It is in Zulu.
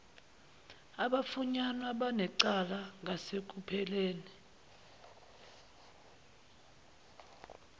abafunyanwa benecala ngasekupheleni